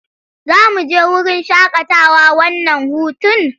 Za mu je wurin shaƙatawa wannan hutun?